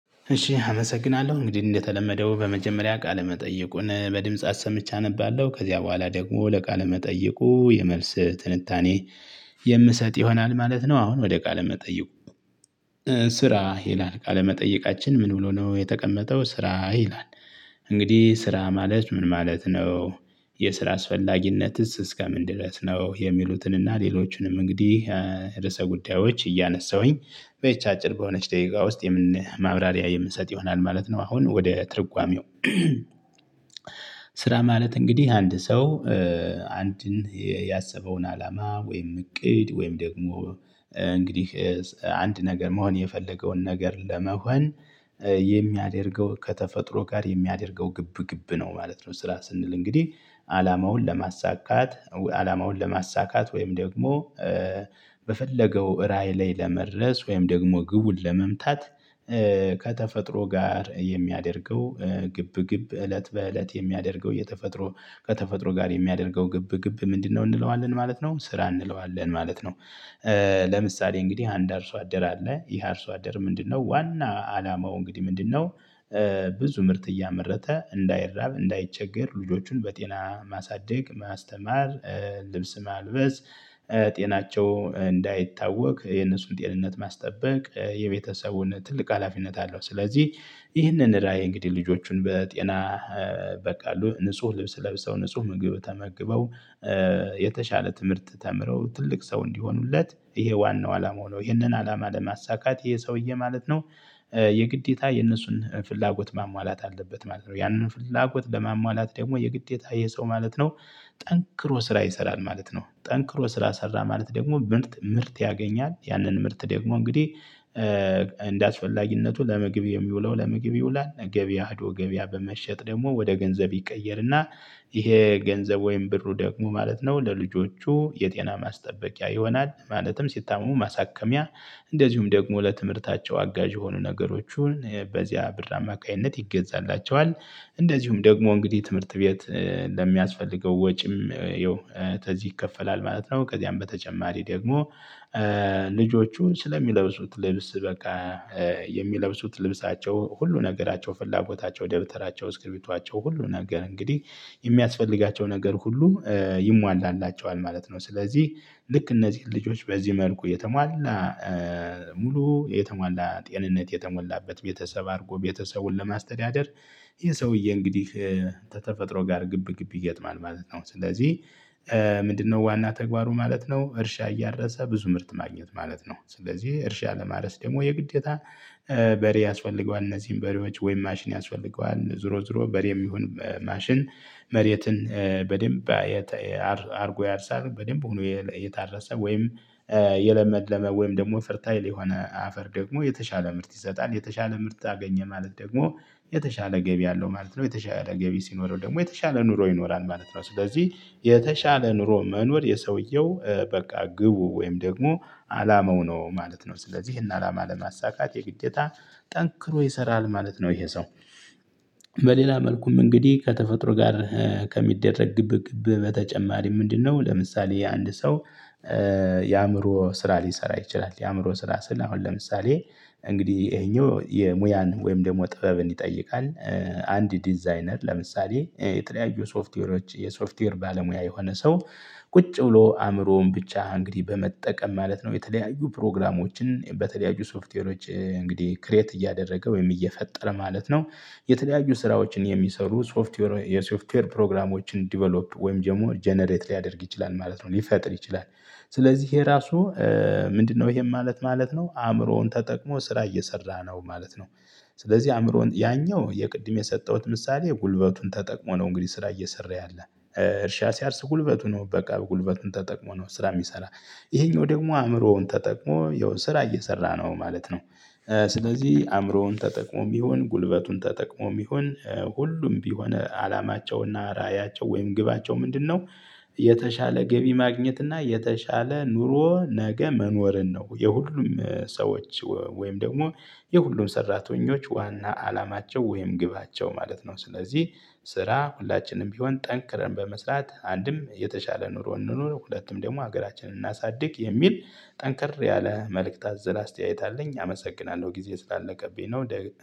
እሺ አመሰግናለሁ እንግዲህ እንደተለመደው በመጀመሪያ ቃለ መጠየቁን በድምፃ አሰምቼ አነባለሁ ከዚያ በኋላ ደግሞ ለቃለ መጠየቁ የመልስ ትንታኔ የምሰጥ ይሆናል ማለት ነው። አሁን ወደ ቃለ መጠየቁ? ስራ ይላል ቃለመጠየቃችን ምን ብሎ ነው የተቀመጠው ስራ ይላል? እንግዲህ ስራ ማለት ምን ማለት ነው? የስራ አስፈላጊነትስ እስከምን ድረስ ነው የሚሉትን እና ሌሎችንም እንግዲህ። ርዕሰ ጉዳዮች እያነሳሁኝ በዚች አጭር በሆነች ደቂቃ ውስጥ ማብራሪያ የምንሰጥ ይሆናል ማለት ነው። አሁን ወደ ትርጓሜው። ስራ ማለት እንግዲህ አንድ ሰው አንድን ያሰበውን አላማ ወይም እቅድ ወይም ደግሞ እንግዲህ አንድ ነገር መሆን የፈለገውን ነገር ለመሆን የሚያደርገው ከተፈጥሮ ጋር የሚያደርገው ግብ ግብ ነው ማለት ነው። ስራ ስንል እንግዲህ አላማውን ለማሳካት አላማውን ለማሳካት ወይም ደግሞ በፈለገው ራዕይ ላይ ለመድረስ ወይም ደግሞ ግቡን ለመምታት ከተፈጥሮ ጋር የሚያደርገው ግብ ግብ እለት በእለት የሚያደርገው የተፈጥሮ ከተፈጥሮ ጋር የሚያደርገው ግብ ግብ ምንድነው እንለዋለን ማለት ነው ስራ እንለዋለን ማለት ነው። ለምሳሌ እንግዲህ አንድ አርሶ አደር አለ ይሄ አርሶ አደር ምንድነው ዋና አላማው እንግዲህ ምንድነው? ብዙ ምርት እያመረተ እንዳይራብ እንዳይቸገር ልጆቹን በጤና ማሳደግ ማስተማር ልብስ ማልበስ ጤናቸው እንዳይታወክ የነሱን ጤንነት ማስጠበቅ የቤተሰቡን ትልቅ ሀላፊነት አለው። ስለዚህ ይህንን ራዕይ እንግዲህ ልጆቹን በጤና በ ካሉ ንጹህ ልብስ ለብሰው ንጹህ ምግብ ተመግበው የተሻለ ትምህርት ተምረው ትልቅ ሰው እንዲሆኑለት ይሄ ዋናው አላማው ነው። ይሄንን አላማ ለማሳካት ይሄ ሰውዬ ማለት ነው የግዴታ የነሱን ፍላጎት ማሟላት አለበት ማለት ነው። ያንን ፍላጎት ለማሟላት ደግሞ የግዴታ ይሄ ሰው ማለት ነው። ጠንክሮ ስራ ይሰራል ማለት ነው። ጠንክሮ ስራ ሰራ ማለት ደግሞ ምርት ያገኛል ያንን ምርት ደግሞ እንግዲህ እንደአስፈላጊነቱ ለምግብ የሚውለው ለምግብ ይውላል ገበያ ሂዶ ገበያ በመሸጥ ደግሞ ወደ ገንዘብ ይቀየርና። ይሄ ገንዘብ ወይም ብሩ ደግሞ ማለት ነው ለልጆቹ የጤና ማስጠበቂያ ይሆናል። ማለትም ሲታመሙ ማሳከሚያ እንደዚሁም ደግሞ ለትምህርታቸው አጋዥ የሆኑ ነገሮችን በዚያ ብር አማካኝነት ይገዛላቸዋል። እንደዚሁም ደግሞ እንግዲህ ትምህርት ቤት ለሚያስፈልገው ወጪም ያው ተዚህ ይከፈላል ማለት ነው። ከዚያም በተጨማሪ ደግሞ ልጆቹ ስለሚለብሱት ልብስ በቃ የሚለብሱት ልብሳቸው ሁሉ ነገራቸው ፍላጎታቸው ደብተራቸው እስክሪፕቷቸው ሁሉ ነገር እንግዲህ የሚያስፈልጋቸው ነገር ሁሉ ይሟላላቸዋል ማለት ነው። ስለዚህ ልክ እነዚህን ልጆች በዚህ መልኩ የተሟላ ሙሉ የተሟላ ጤንነት የተሞላበት ቤተሰብ አድርጎ ቤተሰቡን ለማስተዳደር ይሄ ሰውዬ እንግዲህ ተተፈጥሮ ጋር ግብ ግብ ይጥማል ማለት ነው። ስለዚህ ምንድነው ዋና ተግባሩ ማለት ነው? እርሻ እያረሰ ብዙ ምርት ማግኘት ማለት ነው። ስለዚህ እርሻ ለማረስ ደግሞ የግዴታ በሬ ያስፈልገዋል እነዚህን በሬዎች ወይም ማሽን ያስፈልገዋል ዙሮ ዙሮ በሬም ይሁን ማሽን መሬትን በደንብ አድርጎ ያርሳል። በደንብ ሆኖ የታረሰ ወይም የለመለመ ወይም ደግሞ ፍርታይል የሆነ አፈር ደግሞ የተሻለ ምርት ይሰጣል። የተሻለ ምርት አገኘ ማለት ደግሞ የተሻለ ገቢ አለው ማለት ነው። የተሻለ ገቢ ሲኖረው ደግሞ የተሻለ ኑሮ ይኖራል ማለት ነው። ስለዚህ የተሻለ ኑሮ መኖር የሰውየው በቃ ግቡ ወይም ደግሞ አላማው ነው ማለት ነው። ስለዚህ ይሄን አላማ ለማሳካት የግዴታ ጠንክሮ ይሰራል ማለት ነው። ይሄ ሰው በሌላ መልኩም እንግዲህ ከተፈጥሮ ጋር ከሚደረግ ግብ ግብ በተጨማሪ ምንድነው? ለምሳሌ የአንድ ሰው የአእምሮ ስራ ሊሰራ ይችላል የአእምሮ ስራ ስል አሁን ለምሳሌ እንግዲህ ይሄኛው የሙያን ወይም ደግሞ ጥበብን ይጠይቃል። አንድ ዲዛይነር ለምሳሌ የተለያዩ ሶፍትዌሮች የሶፍትዌር ባለሙያ የሆነ ሰው ቁጭ ብሎ አእምሮውን ብቻ እንግዲህ በመጠቀም ማለት ነው የተለያዩ ፕሮግራሞችን በተለያዩ ሶፍትዌሮች እንግዲህ ክሬት እያደረገ ወይም እየፈጠረ ማለት ነው። የተለያዩ ስራዎችን የሚሰሩ ሶፍትዌር የሶፍትዌር ፕሮግራሞችን ዲቨሎፕ ወይም ደግሞ ጀነሬት ሊያደርግ ይችላል ማለት ነው። ሊፈጥር ይችላል። ስለዚህ ይሄ ራሱ ምንድነው? ይሄም ማለት ነው አእምሮውን ተጠቅሞ ስራ እየሰራ ነው ማለት ነው። ስለዚህ አእምሮውን ያኛው የቅድም የሰጠሁት ምሳሌ ጉልበቱን ተጠቅሞ ነው እንግዲህ ስራ እየሰራ ያለ እርሻ ሲያርስ ጉልበቱ ነው በቃ ጉልበቱን ተጠቅሞ ነው ስራ እሚሰራ። ይሄኛው ደግሞ አእምሮውን ተጠቅሞ ያው ስራ እየሰራ ነው ማለት ነው። ስለዚህ አእምሮውን ተጠቅሞም ይሁን ጉልበቱን ተጠቅሞም ይሁን ሁሉም ቢሆን አላማቸውና ራእያቸው ወይም ግባቸው ምንድነው? የተሻለ ገቢ ማግኘት እና የተሻለ ኑሮ ነገ መኖርን ነው የሁሉም ሰዎች ወይም ደግሞ የሁሉም ሰራተኞች ዋና አላማቸው ወይም ግባቸው ማለት ነው። ስለዚህ ስራ ሁላችንም ቢሆን ጠንክረን በመስራት አንድም የተሻለ ኑሮ እንኑር ሁለትም ደግሞ ሀገራችንን እናሳድግ የሚል ጠንከር ያለ መልእክት አዘል አስተያየት አለኝ። አመሰግናለሁ ጊዜ ስላለቀብኝ ነው።